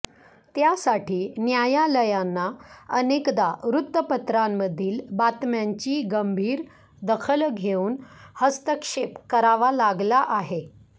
त्यासाठी न्यायालयांना अनेकदा वृत्तपत्रांमधील बातम्यांची गंभीर दखल घेऊन हस्तक्षेप करावा लागला आहे